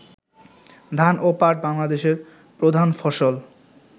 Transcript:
ধান ও পাট বাংলাদেশের প্রধান ফসল